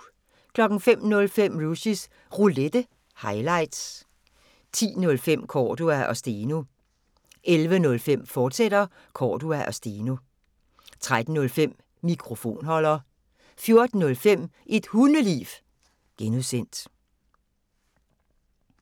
05:05: Rushys Roulette – highlights 10:05: Cordua & Steno 11:05: Cordua & Steno, fortsat 13:05: Mikrofonholder 14:05: Et Hundeliv (G)